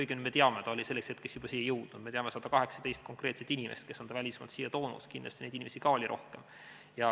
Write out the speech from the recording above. Õigemini, me teame, et ta oli selleks hetkeks juba siia jõudnud, me teame 118 konkreetset inimest, kes on ta välismaalt siia toonud, kindlasti ka neid inimesi oli rohkem.